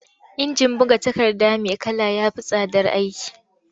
Injin buga takarda mai kala ya fi tsadar aiki.